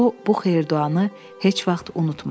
O, bu xeyir-duanı heç vaxt unutmadı.